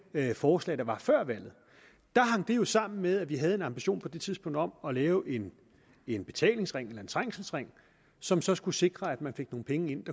forslag der var før valget hang det jo sammen med at vi havde en ambition på det tidspunkt om at lave en en betalingsring eller en trængselsring som så skulle sikre at man fik nogle penge ind